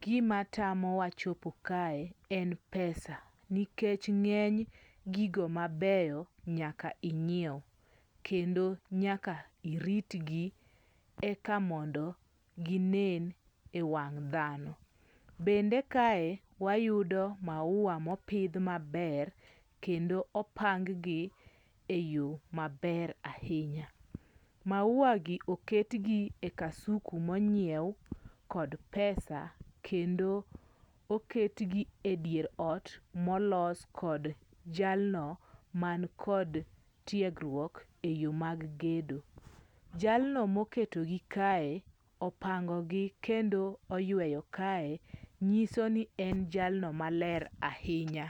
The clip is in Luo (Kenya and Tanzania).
gima tamowa chopo kae en pesa. Nikech ng'eny gigo mabeyo nyaka ing'iew. Kendo nyaka iritgi eka mondo ginen ewang' dhano. Bende kae, wayudo mauwa mopidh maber, kendo opang gi eyo maber ahinya. Mauwagi oketgi e kasuku monyiew kod pesa kendo oketgi edier ot molos kod jalno man kod tiegruok eyo mag gedo. Jalno moketogi kae, opangogi kendo oyueyo kae nyiso ni en jalno maler ahinya.